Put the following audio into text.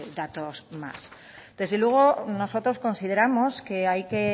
datos más desde luego nosotros consideramos que hay que